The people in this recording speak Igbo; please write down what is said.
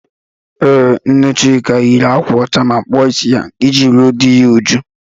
Ee, nne Chuka yiri ákwà ọcha ma kpụọ ịsị ya iji ruo dị ya uju.